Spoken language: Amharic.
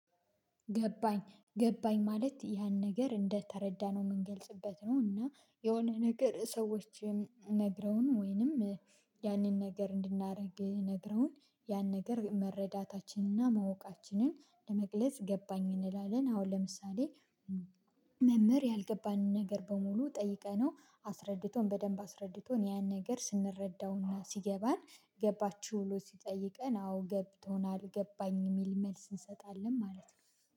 ገባኝ ገባኝ ማለት ያን ነገር እንደተረዳነው ምንገልጽበት ነው እና የሆነ ነገር ሰዎችን ነግረውን ወይንም ያንን ነገር እንድናረግ ነግረውን ያን ነገር መረዳታችንና እና ማወቃችንን ለመግለጽ ገባኝ እንላለን። አሁን ለምሳሌ። መምህር ያልገባኝን ነገር በሙሉ ጠይቀነው አስረድቶን በደንብ አስረድቶን ያን ነገር ስንረዳውና ሲገባን ገባቹ? ብሎ ሲጠይቀን አዎ ገብቶናል ገባኝ የሚል መልስ እንሰጣለን ማለት ነው